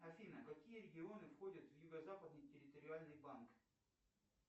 афина какие регионы входят в юго западный территориальный банк